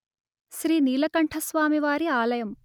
శ్రీ నీలకంఠస్వామివారి ఆలయం